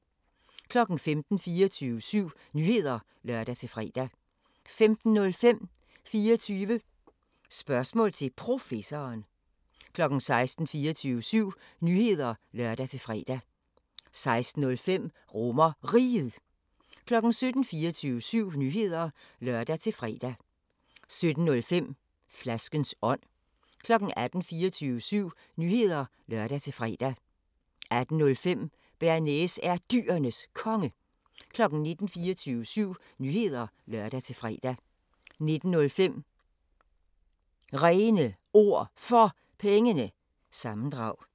15:00: 24syv Nyheder (lør-fre) 15:05: 24 Spørgsmål til Professoren 16:00: 24syv Nyheder (lør-fre) 16:05: RomerRiget 17:00: 24syv Nyheder (lør-fre) 17:05: Flaskens ånd 18:00: 24syv Nyheder (lør-fre) 18:05: Bearnaise er Dyrenes Konge 19:00: 24syv Nyheder (lør-fre) 19:05: René Ord For Pengene – sammendrag